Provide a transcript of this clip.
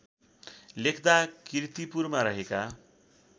लेख्दा कीर्तिपुरमा रहेका